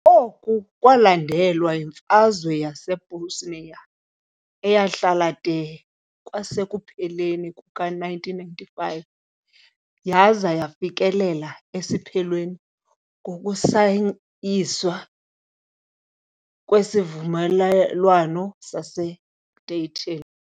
Oku kwalandelwa yiMfazwe yaseBosnia, eyahlala de kwasekupheleni kuka-1995 yaza yafikelela esiphelweni ngokusayinwa kweSivumelwano saseDayton.